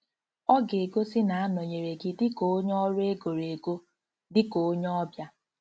Ọ ga egosi na-anọnyere gị dị ka onye ọrụ e goro ego, dị ka onye ọbịa. ”